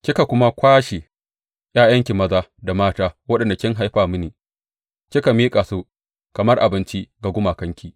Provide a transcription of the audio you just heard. Kika kuma kwashe ’ya’yanki maza da mata waɗanda kin haifa mini kika miƙa su kamar abinci ga gumakanki.